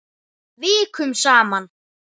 Vikum saman.